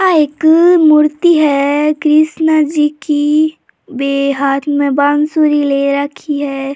आ एक मूर्ति है कृष्ण जी की वे हाथ में बांसुरी ले राखी है।